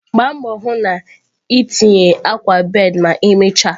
Gbaa mbọ hụ na itinye akwa bed ma emechaa!